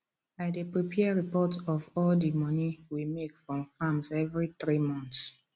i dey prepare reports of all di money we make from farms every 3 months